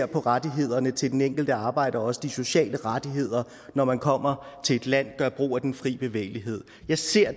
på rettighederne til den enkelte arbejder også de sociale rettigheder når man kommer til et land og gør brug af den fri bevægelighed jeg ser